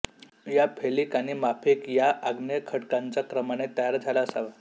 हा फेलिक आणि मफिक या आग्नेय खडकांचा क्रमाने तयार झाला असावा